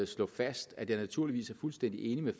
slå fast at jeg naturligvis er fuldstændig enig med